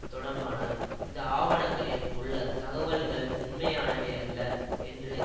தொடர்பான இந்த ஆவணங்களில் உள்ள தகவல்கள் உண்மையானவையல்ல என்று